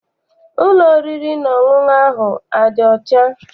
Ụlọ oriri na ọṅụṅụ ahụ adị ọcha?